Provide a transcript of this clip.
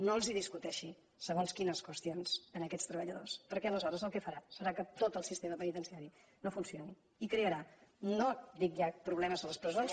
no els discuteixi segons quines qüestions a aquests treballadors perquè aleshores el que farà serà que tot el sistema penitenciari no funcioni i crearà no dic ja problemes a les presons